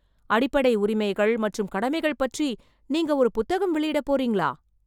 அடிப்படை உரிமைகள் மற்றும் கடமைகள் பற்றி நீங்க ஒரு புத்தகம் வெளியிடப் போறீங்களா?